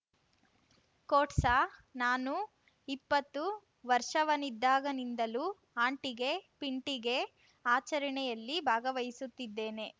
ಕೋಟ್ಸ ನಾನು ಇಪ್ಪತ್ತು ವರ್ಷವನಿದ್ದಾಗಿನಿಂದಲೂ ಅಂಟಿಗೆ ಪಿಂಟಿಗೆ ಆಚರಣೆಯಲ್ಲಿ ಭಾಗವಹಿಸುತ್ತಿದ್ದೇನೆ